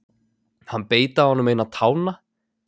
Hann beit af honum eina tána